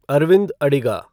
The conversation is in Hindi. अरविंद अडिगा